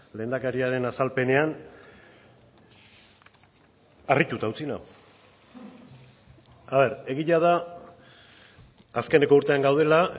lehendakariaren azalpenean harrituta utzi nau egia da azkeneko urtean gaudela